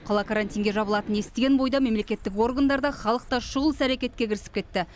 қала карантинге жабылатынын естіген бойда мемлекеттік органдар да халық та шұғыл іс әрекетке кірісіп кетті